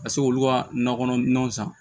Ka se k'olu ka nakɔ kɔnɔnaw san